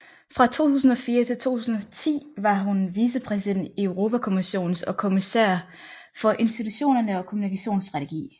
Fra 2004 til 2010 var hun vicepræsident i Europakommissionen og kommissær for institutionerne og kommunikationsstrategi